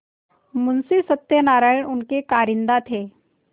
मुंशी सत्यनारायण उनके कारिंदा थे